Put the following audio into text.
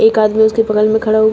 एक आदमी उसके बगल में खड़ा हुआ--